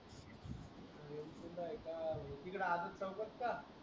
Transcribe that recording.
तीत आहे का तिकडं आजून